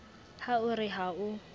ha o re ha o